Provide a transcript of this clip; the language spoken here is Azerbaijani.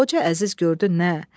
Xoca Əziz gördü nə?